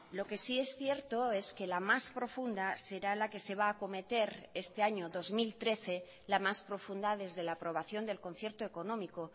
lo que sí es cierto es que la más profunda será la que se va a acometer este año dos mil trece la más profunda desde la aprobación del concierto económico